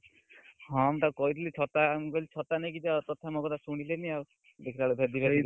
ହଁ, ମୁଁ ତାକୁ କହିଥିଲି ଛତା ମୁଁ କହିଲି ଛତା ନେଇକି ଯାଅ ମୋ କଥା ଶୁଣିଲେନି ଆଉ, ଦେଖିଲା ବେଳକୁ ଭେଦି ଗଲେ ପୁରା ଆଉ।